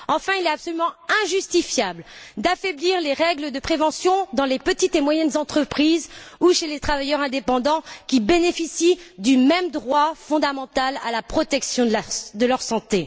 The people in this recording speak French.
Il est absolument injustifiable d'affaiblir les règles de prévention dans les petites et moyennes entreprises ou pour les travailleurs indépendants, qui bénéficient du même droit fondamental à la protection de leur santé.